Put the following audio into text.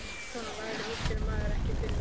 Svona lagað útskýrði maður ekki fyrir neinum.